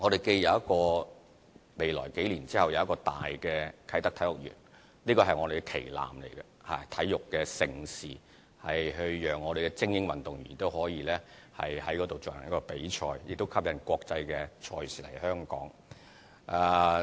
在未來數年，我們會有一個大的啟德體育園，這是我們的旗艦，可舉辦體育盛事，讓精英運動員可在那裏進行比賽，亦可吸引國際賽事來香港舉辦。